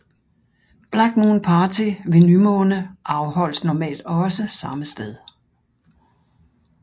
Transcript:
Black Moon Party ved nymåne afholdes normalt også samme sted